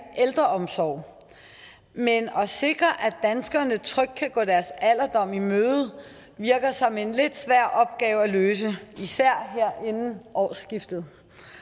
ældreomsorg men at sikre at danskerne trygt kan gå deres alderdom i møde virker som en lidt svær opgave at løse især her inden årsskiftet